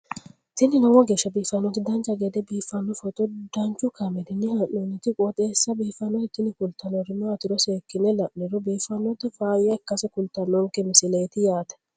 tini lowo geeshsha biiffannoti dancha gede biiffanno footo danchu kaameerinni haa'noonniti qooxeessa biiffannoti tini kultannori maatiro seekkine la'niro biiffannota faayya ikkase kultannoke misileeti yaate